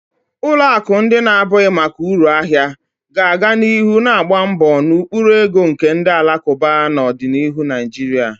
Ụlọ akụ ndị na-abụghị maka uru ahia ga-aga n'ihu na-agba mbọ na ụkpụrụ ego nke ndi alakuba na ọdịnihu Naijiria.